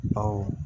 Bawo